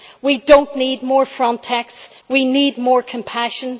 We do not need more Frontex we need more compassion.